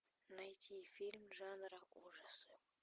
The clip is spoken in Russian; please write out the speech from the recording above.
найти фильм жанра ужасы